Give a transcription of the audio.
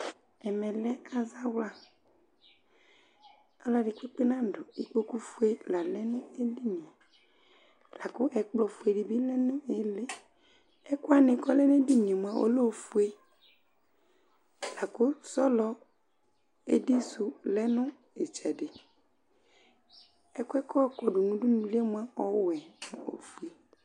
Ɛmɛ lɛ azawlaƆlɔdɩ kpekpe nadʋ, ikpoku fue la lɛ nʋ edinie, lakʋ ɛkplɔ fue dɩ bɩ lɛ nʋ ɛmɛƐkʋ wanɩ kɔ lɛ nedinie mʋa ɔlɛ ofue, lakʋ sɔlɔ edi sʋ lɛ nʋ ɩtsɛdɩƐkʋɛ kʋ ɔkɔdʋ nʋ udunulie mʋa ɔwɛ